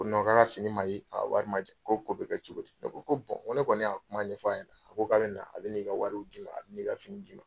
Ko k'a le ka fini ma ye, a wari ma di, k'o ko bɛ kɛ cogo di? Ne ko n ko ne kɔni y'a kuma ɲɛ fɔ a ye , a ko k'ale bɛna i ka wari d'i ma , a bɛ n'i ka fini d 'i ma.